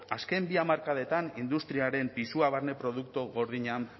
azken bi hamarkadetan industriaren pisua barne produktu gordinean